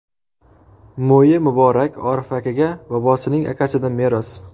Mo‘yi muborak Orif akaga bobosining akasidan meros.